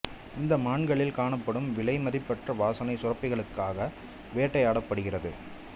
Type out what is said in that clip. இந்த மான்களில் காணப்படும் விலைமதிப்பற்ற வாசனை சுரப்பிகளுக்காக வேட்டையாடப் படுகிறது